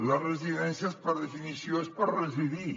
les residències per definició són per residir hi